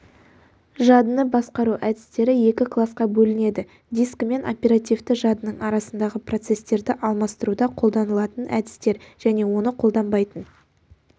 жадыны басқару әдістері екі класқа бөлінеді дискі мен оперативті жадының арасындағы процестерді алмастыруда қолданылатын әдістер және оны қолданбайтын